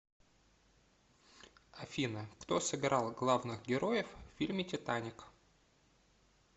афина кто сыграл главных героев в фильме титаник